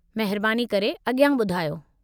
महिरबानी करे अॻियां ॿुधायो।